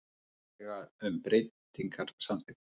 Tillaga um breytingar samþykkt